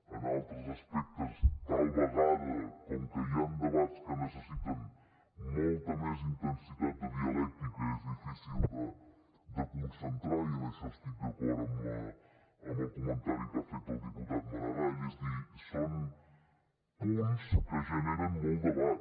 en altres aspectes tal vegada com que hi han debats que necessiten molta més intensitat de dialèctica és difícil de concentrar i en això estic d’acord amb el comentari que ha fet el diputat maragall és a dir són punts que generen molt debat